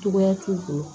Cogoya t'u bolo